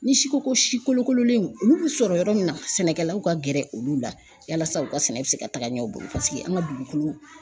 Ni si ko si kolokololenw olu bɛ sɔrɔ yɔrɔ min na, sɛnɛkɛlaw ka gɛrɛ olu la yalasa u ka sɛnɛ bɛ se ka taga ɲɛ u bolo paseke an ka dugukolo